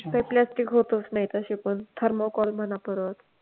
ते plastic होतच नाही तशे पण thermocall म्हणा परत.